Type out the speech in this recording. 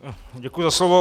Děkuji za slovo.